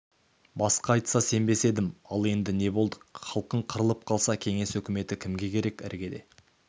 басқа айтса сенбес едім ал енді не болдық халқың қырылып қалса кеңес өкіметі кімге керек іргеде